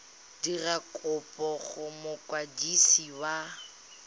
dira kopo go mokwadisi wa